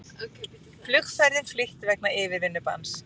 Flugferðum flýtt vegna yfirvinnubanns